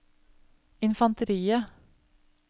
infanteriet